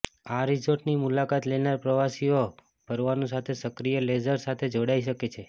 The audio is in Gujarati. આ રિસોર્ટની મુલાકાત લેનાર પ્રવાસીઓ ફરવાનું સાથે સક્રિય લેઝર સાથે જોડાઈ શકે છે